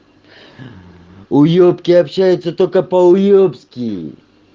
уебки общаются только по-уебски